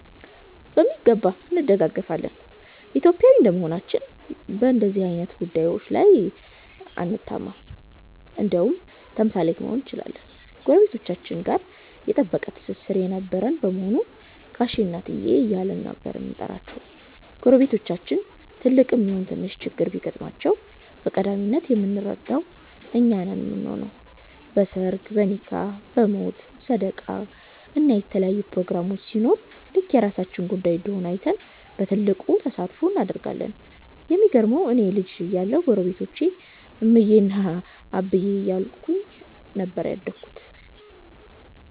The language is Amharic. በሚገባ እንደጋገፋለን። ኢትዮጵያዊ እንደመሆናችን በንደዚህ አይነት ጉዳዬች ላይ አንታማም እንደውም ተምሳሌት መሆን እንችላለን። ጎረቤቶቻችን ጋ የጠበቀ ትስስር የነበረን በመሆኑ ጋሼ እና እትዬ እያልን ነበር የምንጠራቸው። ጎረቤቶቻችን ትልቅም ይሁን ትንሽ ችግር ቢገጥማቸው በቀዳሚነት የምንረዳው እኛ ነን ምንሆነው። በ ሰርግ፣ ኒካህ፣ ሞት፣ ሰደቃ እና የተለያዩ ፕሮግራሞች ሲኖር ልክ የራሳችን ጉዳይ እንደሆነ አይተን በትልቁ ተሳትፎ እናደርጋለን። የሚገርመው እኔ ልጅ እያለሁ ጎረቤቶቼን እምዬ እና አብዬ እያልኩኝ ነበር ያደግኩት።